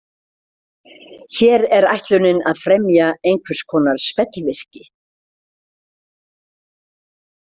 Hér er ætlunin að fremja einhvers konar spellvirki.